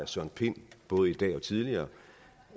søren pind både i dag og tidligere